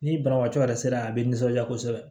Ni banabaatɔ yɛrɛ sera a bɛ nisɔndiya kosɛbɛ